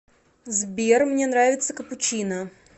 сбер мне нравится капучино